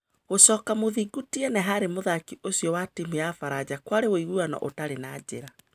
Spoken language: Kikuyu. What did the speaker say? Gũcoka Mũthingu Tiene harĩ mũthaki ũcio wa timu ya Baranja kũarĩ ũiguano ũtarĩ na njĩra.